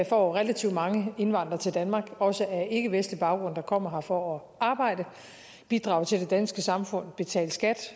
får relativt mange indvandrere til danmark også af ikkevestlig baggrund der kommer her for at arbejde bidrage til det danske samfund betale skat